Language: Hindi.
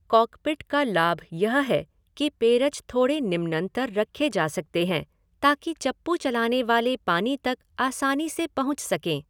कॉकपिट का लाभ यह है कि पेरज थोड़े निम्नतर रखे जा सकते हैं ताकि चप्पू चलाने वाले पानी तक आसानी से पहुच सकें।